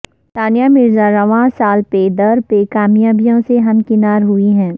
ثانیہ مرزا رواں سال پے در پے کامیابیوں سے ہمکنار ہوئی ہیں